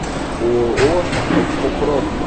ооо экопром